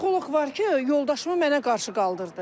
psixoloq var ki, yoldaşımı mənə qarşı qaldırdı.